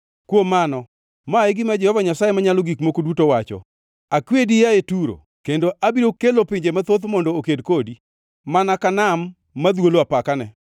Kuom mano, ma e gima Jehova Nyasaye Manyalo Gik Moko Duto wacho: Akwedi, yaye Turo, kendo abiro kelo pinje mathoth mondo oked kodi, mana ka nam madhwolo apakane.